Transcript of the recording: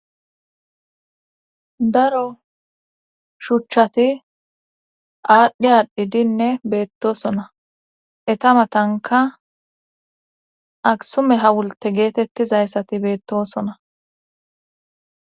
daro shuchchati aadhdhi aadhdhidinne beettosona eta matanka aksume hawulte geetettizayssati beettosona